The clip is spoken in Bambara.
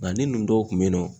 Nka ni nunnu dɔw kun be yen nɔ